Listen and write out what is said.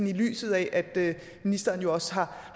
i lyset af at ministeren jo også har